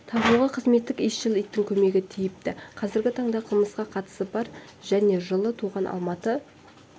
табуға қызметтік иісшіл иттің көмегі тиіпті қазіргі таңда қылмысқа қатысы бар және жылы туған алматы